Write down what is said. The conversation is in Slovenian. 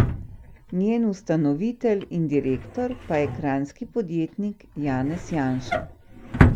Njen ustanovitelj in direktor pa je kranjski podjetnik Janez Janša.